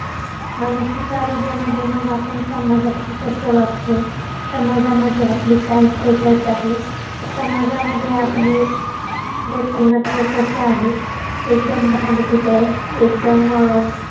मानसिक आरोग्यामध्ये मग आपण समाजाशी कस वागतो? समाजामध्ये आपली काय status आहे? समाजामध्ये आपली व्यक्तिमत्व कस आहे? एकदम भांडकुदळ, एकदम अं